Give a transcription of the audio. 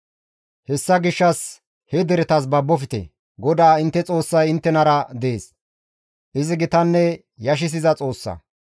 Hessa gishshas he deretas babofte; GODAA intte Xoossay inttenara dees; izi gitanne yashissiza Xoossa.